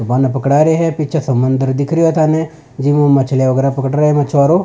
बान पकड़ा रा है पीछे समुन्दर दिख रो है थाने जिम मछलिया वगैरा पकड़ रा है मछवारो।